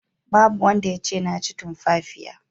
Babu wanda yace na ci tumfafiya.